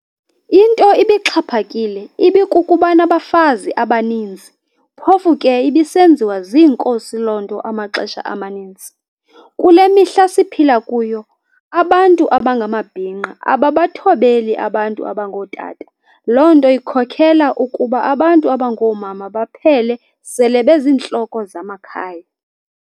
Into ibixhaphakile ibikukubanabafazi abaninzi phofu ke ibisenziwa ziinkosi loo nto amaxesha amaninzi. Kule mihla siphila kuyo abantu abangamabhinqa ababathobeli abantu abangootata lonto ikhokhela ukuba abantu abangoomama baphele sele benzintloko zamakhaya.'